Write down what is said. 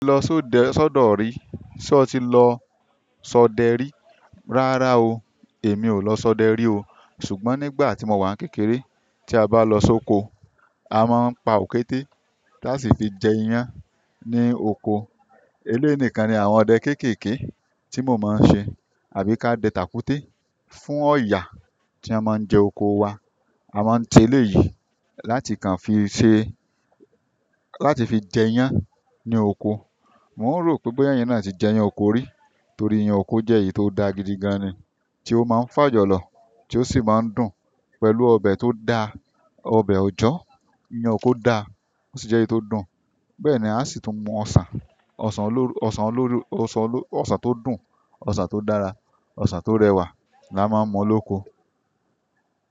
Lo so de sọ̀do ri. Sé o ti lọ sọ dérí? Rárá o, èmi ò lọ sọ dérí o. Ṣùgbọ́n nígbà tí mo wà kékeré, tí a bá lọ sóko, a máa ń pa òkété láti fi jẹ iyan ní oko. Èleyi nìkan ni àwọn ọdẹ kéékèèké tí mo máa ń ṣe, àbí ká de tàkúté fún ọ̀yà tí won máa ń jẹ oko wa. A máa ń te léyìí láti kàn fi ṣe, láti fi jẹ iyan ní oko. Mo n rò pé boya eyin náà ti jẹ iyan oko rí, torí iyan oko jẹ́ èyí tó da gidigan ni, tí ó máa ń fà jọlọ, tí ó sì máa ń dùn pẹ̀lú ọbẹ̀ tó da, ọbẹ̀ òjọ́, iyan oko da, ó sì jẹ́ èyí tó dùn. Bẹ́ẹ̀ ni, a sì tún mú ọsa, osan oni-- ọsan tó dùn, ọsan tó dára, ọsan tó rẹwà la máa ń mú lóko.